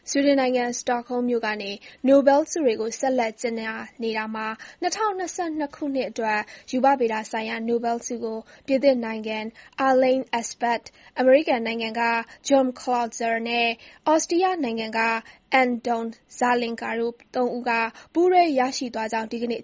ဆွီဒင်နိုင်ငံ၊ စတော့ဟုမ်းမြို့ကနေ နိုဘဲလ်ဆုတွေကို ဆက်လက် ကြေညာနေတာမှာ ၂၀၂၂ ခုနှစ်အတွက် ရူပဗေဒဆိုင်ရာ နိုဘဲလ်ဆုကို ပြင်သစ်နိုင်ငံက Alain Aspect ၊ အမေရိကန်နိုင်ငံက John Clauser နဲ့ ဩစတီးယားနိုင်ငံက Anton Zeilinger တို့ ၃ ဦးက ပူးတွဲ ရရှိသွားကြောင်း ဒီကနေ့